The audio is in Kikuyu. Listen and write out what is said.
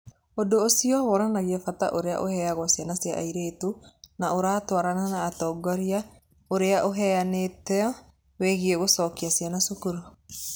Ũndũ ũcio wonanagia bata ũrĩa ũheagwo ciana cia airĩtu na ũratwarana na ũtongoria ũrĩa ũheanĩtwo wĩgiĩ gũcokia ciana cukuru.